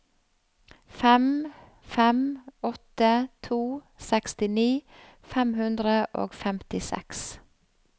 fem fem åtte to sekstini fem hundre og femtiseks